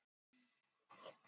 Seldi hann vídeóið?